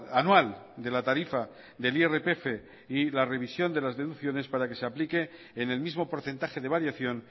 anual de la tarifa del irpf y la revisión de las deducciones para que se aplique en el mismo porcentaje de variación